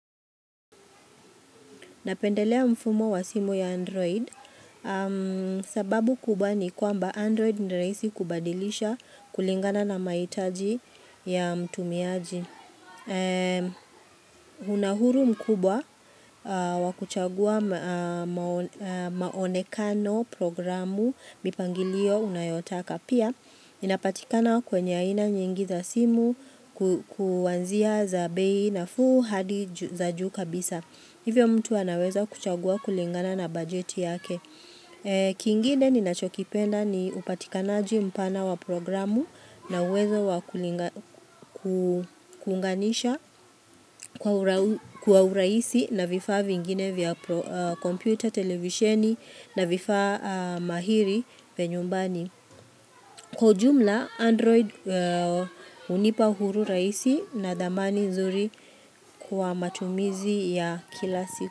Napendelea mfumo wa simu ya Android, sababu kubwa ni kwamba Android ni rahisi kubadilisha kulingana na mahitaji ya mtumiaji. Unahuru mkubwa wakuchagua maonekano programu mipangilio unayotaka. Pia, inapatikana kwenye aina nyingi za simu kwanzia za bei nafuu hadi za juu kabisa. Hivyo mtu anaweza kuchagua kulingana na bajeti yake. Kingine ninachokipenda ni upatikanaji mpana wa proagramu na uweza wa kuunganisha kwa urahisi na vifaa vingine vya kompyuta, televisheni na vifaa mahiri vya nyumbani. Kwa ujumla, Android hunipa huru rahisi na thamani nzuri kwa matumizi ya kila siku.